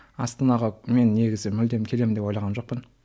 астанаға мен негізі мүлдем келемін деп ойлаған жоқпын